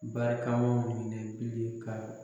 Barikamaw minɛ bilen ka.